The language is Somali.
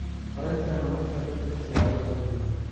horumarinta nolosha dadka siyaabo kala duwan.